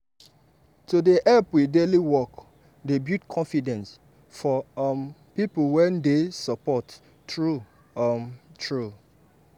to dey help with daily work dey build confidence for um people wey dey support true um true.